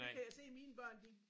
Nu kan jeg se mine børn de